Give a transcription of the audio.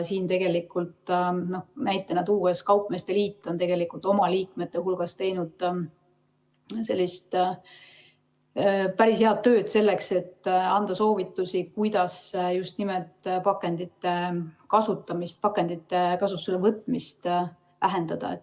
Näitena tuues: kaupmeeste liit on oma liikmete hulgas teinud päris head tööd, selleks et anda soovitusi, kuidas just nimelt pakendite kasutusele võtmist vähendada.